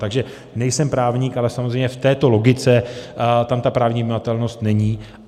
Takže nejsem právník, ale samozřejmě v této logice tam ta právní vymahatelnost není.